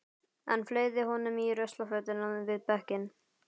Hann fleygði honum í ruslafötuna við bekkinn.